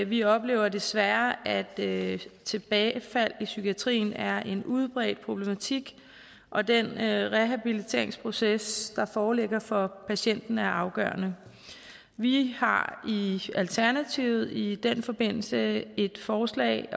vi oplever desværre at tilbagefald i psykiatrien er en udbredt problematik og den rehabiliteringsproces der foreligger for patienten er afgørende vi har i alternativet i den forbindelse et forslag